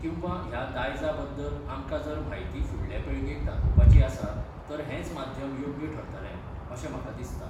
किंवा ह्या दायजा बद्दल आमकां जर म्हायती फुडल्या पिळगेक दाखोवपाची आसा तर हेंच माध्याम योग्य ठरतलें, अशें म्हाका दिसता.